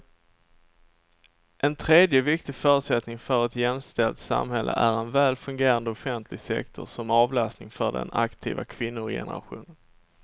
En tredje viktig förutsättning för ett jämställt samhälle är en väl fungerande offentlig sektor som avlastning för den aktiva kvinnogenerationen.